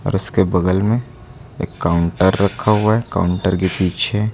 उसके बगल में एक काउंटर रखा हुआ है काउंटर के पीछे--